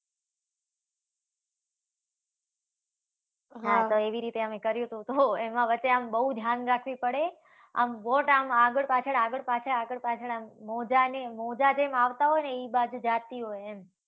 હા તો એવી રીતે અમે કર્યુ તો, એમા વચ્ચે આમ બવ ધ્યાન રાખવી પડે, અને boat આમ આગળ-પાછળ, આગળ-પાછળ, આગળ-પાછળ આમ મોજાની, મોજા જેમ આવતા હોય ને એ બાજુ જાતી હોય એમ